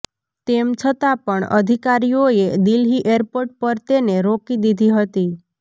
તેમ છતા પણ અધિકારીઓએ દિલ્હી એરપોર્ટ પર તેને રોકી દીધી હતી